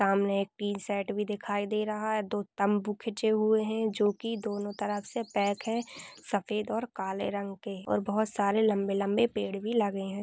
सामने एक बी सेट भी दिखाई दे रहा है दो तंबू खिचे हुए है जो की दोनों तरफ दे पैक है सफ़ेद और काले रंग के और बहुत सारे लांबे-लांबे पेड भी लगे है।